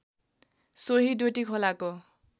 सोही डोटी खोलाको